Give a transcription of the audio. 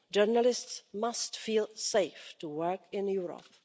Journalists must feel safe to work in Europe.